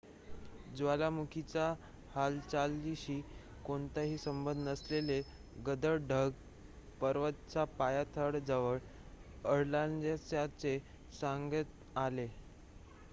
ज्वालामुखीच्या हालचालींशी कोणताही संबंध नसलेले गडद ढग पर्वताच्या पायथ्याजवळ आढळल्याचे सांगण्यात आले